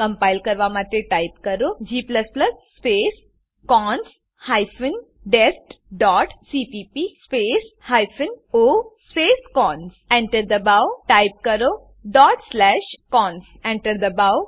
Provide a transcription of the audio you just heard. compile કરવા માટે type કરો g space cons hyphen dest dot CPP space hyphen o space cons Enter દબાવો type કરો dot slash cons Enter દબાવો